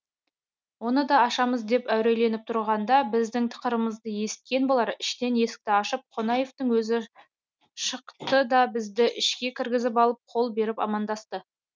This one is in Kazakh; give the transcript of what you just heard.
оны да ашамын деп әуреленіп тұрған да біздің тықырымызды есіткен болар іштен есікті ашып қонаевтың өзі шықты да бізді ішке кіргізіп алып қол беріп амандасты